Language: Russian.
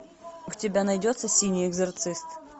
у тебя найдется синий экзорцист